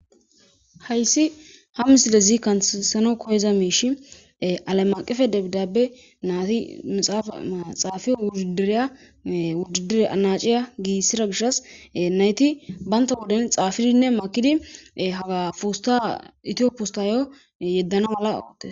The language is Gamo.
Hayssi ha misilezi kanseno koyeza miish alay maqife debidabe naati mixaafaa xaafiyo wujidireya wujidire anaciya giissira gishas nayti baynta woden xaafidinne makidi haga poosta itiyoppustayo yeddana mala awotte.